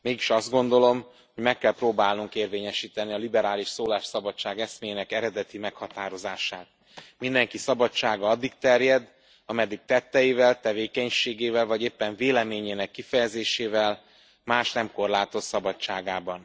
Mégis azt gondolom, hogy meg kell próbálnunk érvényesíteni a liberális szólásszabadság eszméjének eredeti meghatározását mindenki szabadsága addig terjed, ameddig tetteivel, tevékenységével vagy éppen véleményének kifejezésével mást nem korlátoz szabadságában.